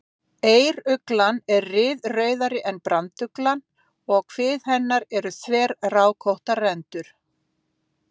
Eyruglan er ryðrauðari en branduglan og á kvið hennar eru þverrákóttar rendur.